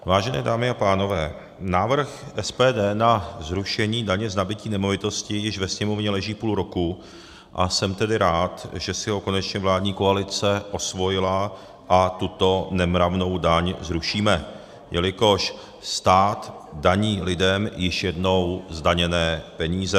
Vážené dámy a pánové, návrh SPD na zrušení daně z nabytí nemovitostí již ve Sněmovně leží půl roku, a jsem tedy rád, že si ho konečně vládní koalice osvojila a tuto nemravnou daň zrušíme, jelikož stát daní lidem již jednou zdaněné peníze.